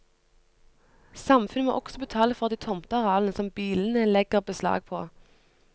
Samfunnet må også betale for de tomtearealene som bilene legger beslag på.